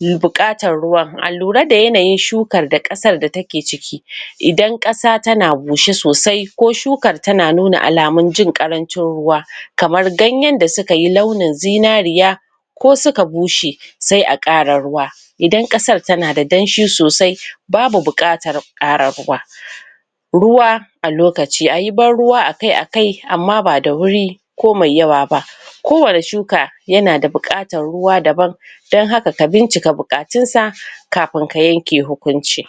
me buƙatan ruwa, allurai da yanayin shukar da ƙasar da take ciki idan ƙasa tana bushe sosai ko shukar tana nuna alamun jin ƙarancin ruwa kamar gayen da sukayi launin zinariya ko suka bushe sai a ƙara ruwa idan ƙasar tana da danshi sosai babu buƙatar ƙara ruwa ruwa a lokaci, ayi ban ruwa akai-akai amma ba da wuri ko mai yawa ba, ko wani shuka yana da buƙatan ruwa daban dan haka, ka bincika buƙatunsa kafin ka yanke hukunci.